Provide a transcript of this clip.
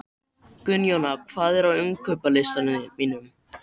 Gunnjóna, hvað er á innkaupalistanum mínum?